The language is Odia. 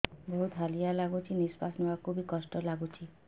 ବହୁତ୍ ହାଲିଆ ଲାଗୁଚି ନିଃଶ୍ବାସ ନେବାକୁ ଵି କଷ୍ଟ ଲାଗୁଚି